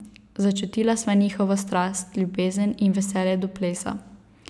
Začutila sva njihovo strast, ljubezen in veselje do plesa.